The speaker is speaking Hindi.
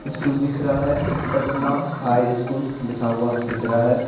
स्कूल दिख रहा है पटना हाई स्कूल लिखा हुआ दिख रहा है।